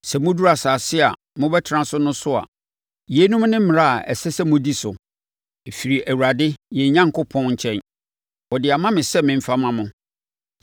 Sɛ moduru asase a mobɛtena so no so a, yeinom ne mmara a ɛsɛ sɛ modi so. Ɛfiri Awurade, yɛn Onyankopɔn, nkyɛn. Ɔde ama me sɛ memfa mma mo.